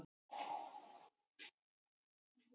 Þeir ríku verða ríkari